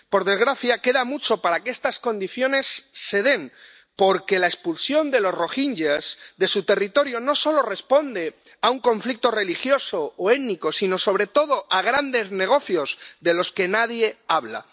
Por desgracia, queda mucho para que estas condiciones se den, porque la expulsión de los rohinyás de su territorio no solo responde a un conflicto religioso o étnico, sino, sobre todo, a grandes negocios de los que nadie habla.